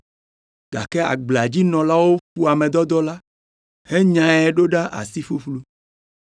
gake agblea dzi nɔlawo ƒo ame dɔdɔ la, henyae ɖo ɖa asi ƒuƒlu.